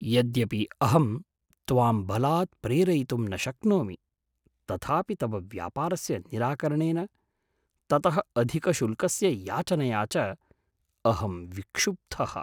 यद्यपि अहं त्वां बलात् प्रेरयितुं न शक्नोमि, तथापि तव व्यापारस्य निराकरणेन, ततः अधिकशुल्कस्य याचनया च अहं विक्षुब्धः।